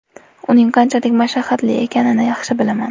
Uning qanchalik mashaqqatli ekanini yaxshi bilaman.